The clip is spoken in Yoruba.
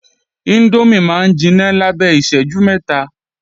Índómì máa ń jiná lábẹ́ ìṣẹ́jú mẹ́ta